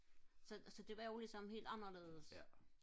så det var jo ligesom helt anderledes